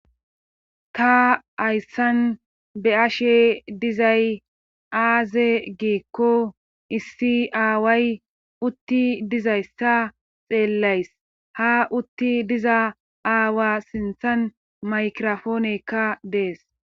ta hayssan be'ashe dizay aaze geekko issi aaway utti dizayssa xeellays ha utti diza aawa sinthan maykrofoonekka dees